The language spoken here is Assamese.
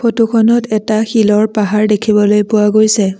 ফটোখনত এটা শিলৰ পাহাৰ দেখিবলৈ পোৱা গৈছে।